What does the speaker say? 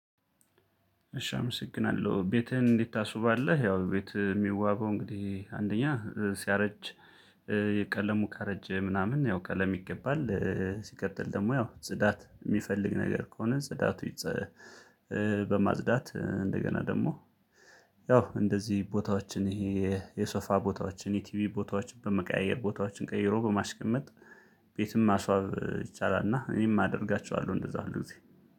እሺ አመሰግናለሁ ቤትህን እንዴት? ታስውባለህ ያው ቤት የሚዋበው እንግዲህ አንደኛ ሲያረጅ። የቀለሙ ካረጀ ምናምን ያው ቀለም ይቀባል። ሲቀጥል ደግሞ ያው ጽዳት የሚፈልግ ነገር ከሆነ ጽዳቱ። በማጽዳት እንደገና ደግሞ ያው እንደዚህ ቦታዎችን ይሄ የሶፋ ቦታዎችን የቲቪ ቦታዎችን በመቀያየር ቦታዎችን ቀይሮ በማስቀመጥ። ቤትም ማስዋብ ይቻላል። እና እኔም አደርጋቸዋለሁ እንደዛ እንደዚህ